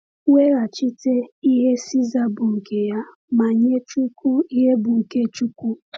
“Weghachite ihe César bụ nke ya, ma nye Chukwu ihe bụ nke Chukwu.”